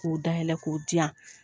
K'o dayɛlɛ k'o di yan.